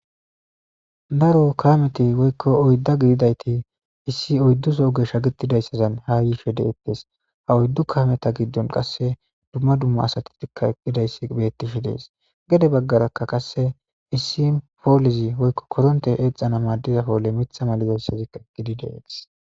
Daro kameti woykko oydda gididayti issi oyddusoo geshsha gittidayssazan hayiishe deettes haoyddu kameta giddon qasse dumma dumma asattikka eqqidayssi bettishi dees gede baggarakka qasse issi poolizi woykko koronte eexxana maaddizapoole mitha malizayssazikka gidide gis.